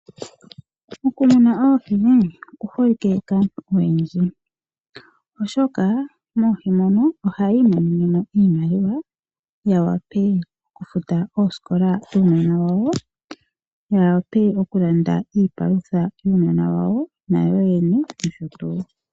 Okumuna oohi ku holike kaantu oyendji, oshoka moohi mono ohayii monene iimaliwa ya wape oku futa oosikola dhuunona wa wo, ya wape oku landa iipalutha yuunona wa wo , nayo yene nosho tuu.